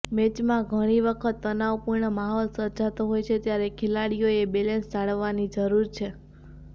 મેચમાં ઘણી વખત તનાવપૂર્ણ માહોલ સર્જાતો હોય છે ત્યારે ખેલાડીઓએ બેલેન્સ જાળવવાની જરૂર છે